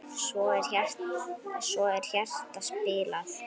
Svo er hjarta spilað.